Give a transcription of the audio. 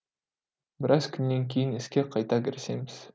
біраз күннен кейін іске қайта кірісеміз